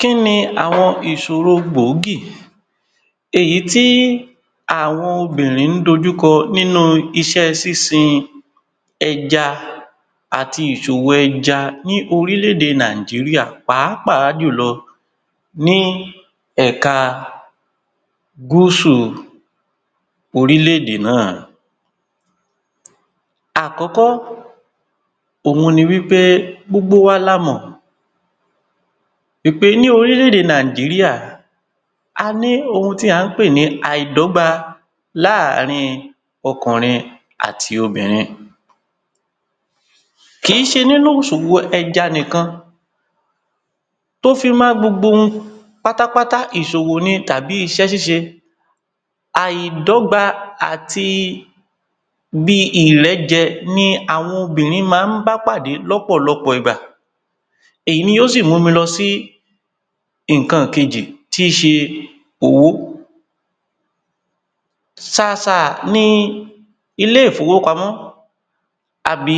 Kíni àwọn ìṣòro gbòógì èyí tí àwọn obìnrin ń dojúkọ nínú iṣẹ́ sinsin ẹja àti ìṣòwò ẹja ní orílẹ̀-èdè Nàìjíríà pàápàá jùlọ ní ẹ̀ka gúúsù orílẹ̀-èdè náà. Àkọ́kọ́, òhun ni wípẹ gbogbo wa la mọ̀ wípé ní orílẹ̀-èdè Nàìjíríà, a ní ohun tí à ń pè ní àìdọ́gba láàrin ọkùnrin àti obìnrin. Kì í ṣe nínú ìṣòwò ẹja nìkan, tó fi mọ́ gbogbo ohun pátápátá, ìṣòwò ni tàbi iṣẹ́ ṣíṣe, àìdọ́gba àti bí ìrẹ́jẹ ni àwọn obìnrin máa ń bá pàdé lọ́pọ̀lọpọ̀ ìgbà, èyí ni ó sì mú mi lọ sí nǹkan kejì, tí í ṣe owo. Ṣàṣà ni ilé ìfowópamọ́ àbí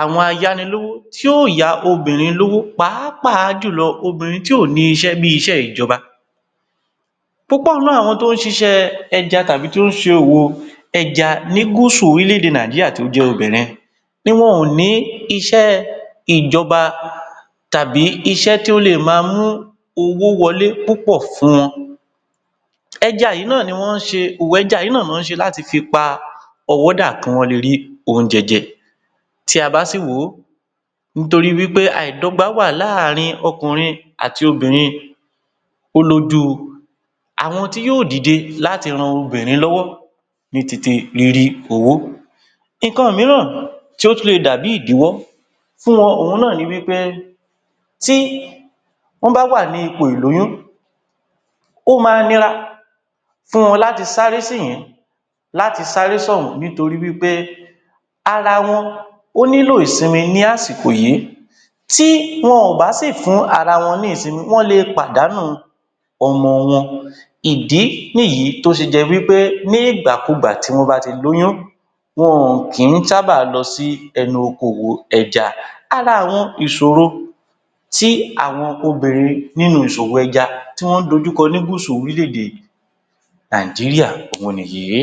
àwọn ayánilówó tí yóò yá obìnrin lówó pàápàá jùlọ obìnrin tí ò ní iṣẹ́ bí iṣẹ́ ìjọba, púpọ̀ nínú àwọn tó ń ṣiṣẹ́ ẹja tàbí tó ń ṣe òwò ẹja ní gúúsù orílẹ̀-èdè Náíjíríà tó jẹ́ obìnrin ni wọn ò ní iṣẹ́ ìjọba, tàbí iṣẹ́ tí ó lè máa mú owó wọlé púpọ̀ fún wọn, ẹja yìí náà ni wọ́n ń ṣe, òwò ẹja yìí náà ni wọ́n ń ṣe láti fi pa ọwọ́ dà kí wọ́n lè rí oúnjẹ jẹ, tí a bá sì wò ó, nítorí pé àìdọ́gba wà láàrin ọkùnrin àti obìnrin, ó lójú àwọn tí yóò dìde láti ran obìnrin lọ́wọ́ ní ti ti rírí owó. Nǹkan mìíràn tí ó tún lè dàbí ìdíwọ́ fún wọn, òhun náà ni wípé, tí wọ́n bá wà ní ipọ̀ ìlóyún, ó máa nira fún wọn láti sáré síìn-ín láti sáré sọ́hùn-ún, nítorí wípe ara wọn ó nílò ìsinmi ní àsìkò yìí, tí wọn ò bá sì fún ara wọn ní ìsinmi, wọ́n lè pàdánù ọmọ wọn, ìdí nìyí tó ṣe jẹ́ wípé ní ìgbàkugbà tí wọ́n bá ti lóyún, wọn ò kí ń sábà lọ sí ẹnu oko òwò ẹja, ara àwọn ìṣòro tí àwọn obìnrin nínú ìṣòwò ẹja tí wón dojúko ní gúsù orílẹ̀-èdè Nàìjíríà, òhun nìyí